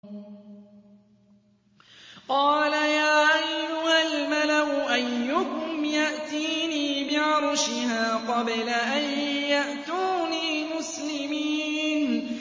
قَالَ يَا أَيُّهَا الْمَلَأُ أَيُّكُمْ يَأْتِينِي بِعَرْشِهَا قَبْلَ أَن يَأْتُونِي مُسْلِمِينَ